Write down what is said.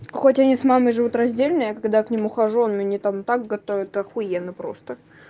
хоть они с мамой живут раздельная я когда к ним ухожу они там торт готовят ахуенно просто